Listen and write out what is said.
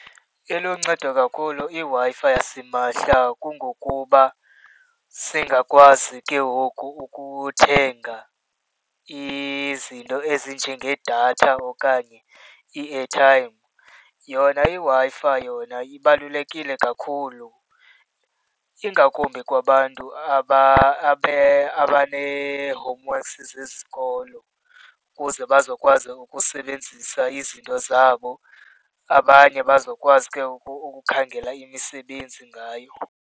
Iluncedo kakhulu iWi-Fi yasimahla kungokuba singakwazi ke ngoku ukuthenga izinto ezinjengedatha okanye i-airtime. Yona iWi-Fi yona ibalulekile kakhulu, ingakumbi kwabantu abanee-homeworks zesikolo ukuze bazokwazi ukusebenzisa izinto zabo, abanye bazokwazi ke ngoku ukukhangela imisebenzi ngayo.